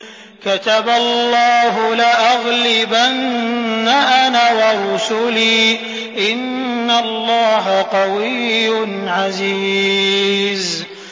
كَتَبَ اللَّهُ لَأَغْلِبَنَّ أَنَا وَرُسُلِي ۚ إِنَّ اللَّهَ قَوِيٌّ عَزِيزٌ